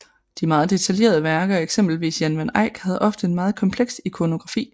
De meget detaljerede værker af eksempelvis Jan van Eyck havde ofte en meget kompleks ikonografi